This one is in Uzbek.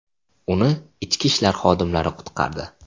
Uni ichki ishlar xodimlari qutqardi.